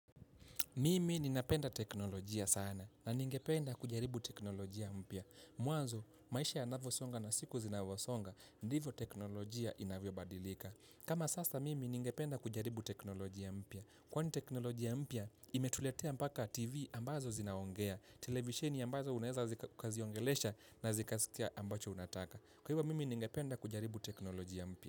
Mimi ninapenda teknolojia sana na ningependa kujaribu teknolojia mpya. Mwanzo, maisha yanavyosonga na siku zinavyosonga, ndivyo teknolojia inavyo badilika. Kama sasa, Mimi ningependa kujaribu teknolojia mpya. Kwani teknolojia mpya, imetuletea mpaka TV ambazo zinaongea. Televisheni ambazo unaeza ukaziongelesha na zikasikia ambacho unataka. Kwa hivyo, Mimi ningependa kujaribu teknolojia mpya.